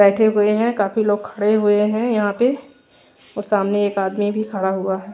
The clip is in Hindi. बैठे हुए हैं काफी लोग खड़े हुए हैं यहां पे और सामने एक आदमी भी खड़ा हुआ है।